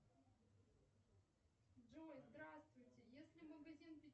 джой здравствуйте если магазин